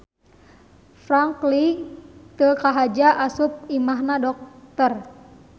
Franky teu kahaja asup ka imahna dokter